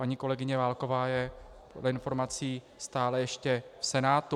Paní kolegyně Válková je dle informací stále ještě v Senátu.